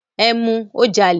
Ẹ mu, ó jalè.